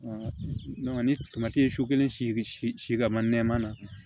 ni ye so kelen siri si si ka ma nɛma na